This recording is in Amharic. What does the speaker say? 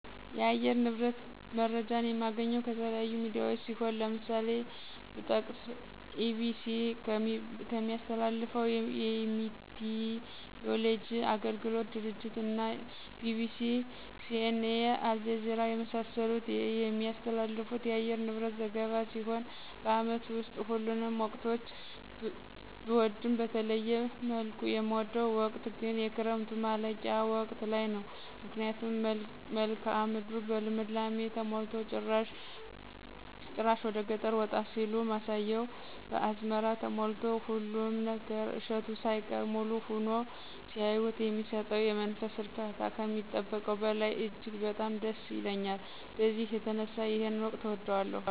የአየር ንብረት መረጃ የማገኘው ከተለያዩ ሚዲያዎች ሲሆን ለምሳሌ ብጠቅስ EBC ከሚያስተላልፈው የሚቲይወሎጂ አገልግሎት ድርጅት እና BBC:CNA:አልጀዚራ የመሳሰሉት የሚያስተላልፉት የአየር ንብረት ዘገባ ሲሆን በአመት ውስጥ ሁሉንም ወቅቶች ብወድም በተለየ መልኩ የምወደው ወቅት ግን የክረምቱ ማለቂያ ወቅት ላይ ነው ምክንያቱም መልክአ ምድሩ በልምላሜ ተሞልቶ ጭራሽ ወደገጠር ወጣ ሲሉ ማሳው በአዝመራ ተሞልቶ ሁሉም ነገር እሸቱ ሳይቀር ሙሉ ሁኖ ሲያዩት የሚሰጠው የመንፈስ እርካታ ከሚጠበቀው በላይ እጅግ በጣም ደስ ይለኛል በዚህ የተነሳ ይሄን ወቅት እወደዋለሁ።